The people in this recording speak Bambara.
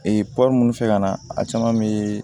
Ee minnu fɛ ka na a caman bɛ